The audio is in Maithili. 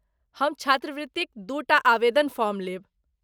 हम छात्रवृत्तिक दू टा आवेदन फॉर्म लेब।